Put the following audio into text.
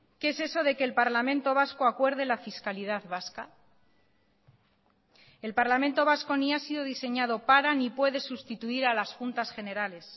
qué es eso de que el parlamento vasco acuerde la fiscalidad vasca el parlamento vasco ni ha sido diseñado para ni puede sustituir a las juntas generales